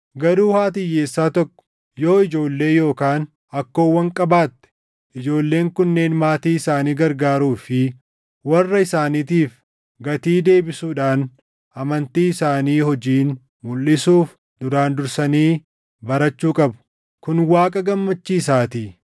Garuu haati hiyyeessaa tokko yoo ijoollee yookaan akkoowwan qabaatte ijoolleen kunneen maatii isaanii gargaaruu fi warra isaaniitiif gatii deebisuudhaan amantii isaanii hojiin mulʼisuuf duraan dursanii barachuu qabu; kun Waaqa gammachiisaatii.